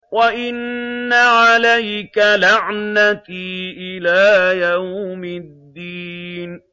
وَإِنَّ عَلَيْكَ لَعْنَتِي إِلَىٰ يَوْمِ الدِّينِ